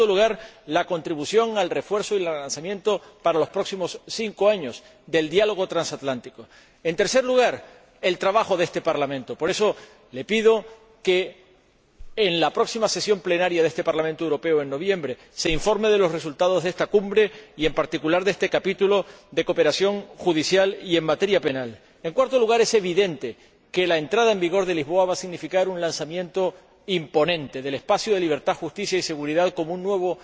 En segundo lugar, quiero destacar la contribución al refuerzo y el lanzamiento, para los próximos cinco años, del diálogo transatlántico y, en tercer lugar, el trabajo de este Parlamento. Por eso le pido que, en el próximo período parcial de sesiones de este Parlamento Europeo, en noviembre, se informe de los resultados de esta cumbre y, en particular, de este capítulo de cooperación judicial y en materia penal. En cuarto lugar, es evidente que la entrada en vigor del Tratado de Lisboa va a significar un lanzamiento imponente del Espacio de Libertad, Seguridad y Justicia, como un nuevo